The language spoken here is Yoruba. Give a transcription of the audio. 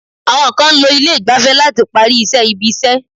Àwọn kan ń lo ilé ìgbafẹ́ láti parí iṣẹ́ ibi-iṣẹ́.